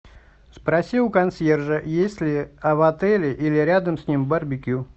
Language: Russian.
спроси у консьержа есть ли в отеле или рядом с ним барбекю